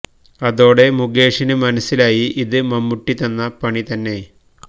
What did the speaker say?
അതോടെ മുകേഷിന് മനസിലായി ഇത് മമ്മൂട്ടി തന്ന പണി തന്നെ